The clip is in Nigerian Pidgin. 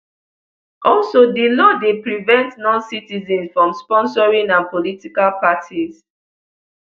also di law dey prevent noncitizens from sponsoring and political parties